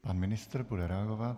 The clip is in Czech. Pan ministr bude reagovat.